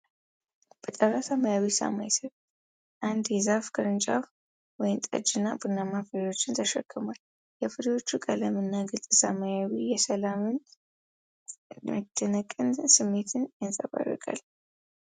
በጠራ ሰማያዊ ሰማይ ስር፣ አንድ የዛፍ ቅርንጫፍ ወይንጠጅ እና ቡናማ ፍሬዎችን ተሸክሟል። የፍሬዎቹ ቀለምና ግልፅ ሰማዩ የሰላምና የመደነቅ ስሜትን ያንፀባርቃል።